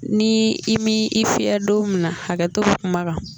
Ni i mi i fii don min na hakɛto bɛ kuma kan